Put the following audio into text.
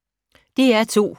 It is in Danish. DR2